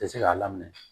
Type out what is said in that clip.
Tɛ se k'a laminɛ